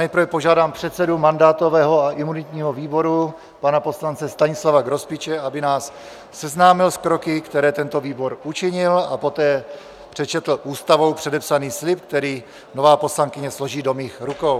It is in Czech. Nejprve požádám předsedu mandátového a imunitního výboru pana poslance Stanislava Grospiče, aby nás seznámil s kroky, které tento výbor učinil, a poté přečetl ústavou předepsaný slib, který nová poslankyně složí do mých rukou.